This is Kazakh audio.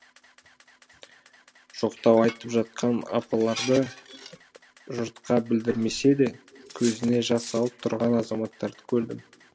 жоқтау айтып жатқан апаларды жұртқа білдірмесе де көзіне жас алып тұрған азаматтарды көрдім